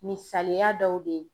Misaliya dɔw de ye.